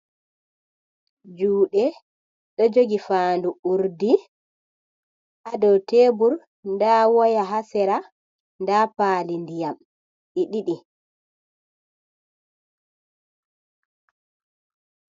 Juuɗe ɗo jogi faandu urdi, ha dow teebur, ndaa woya ha sera, ndaa paali ndiyam ɗi ɗiɗi.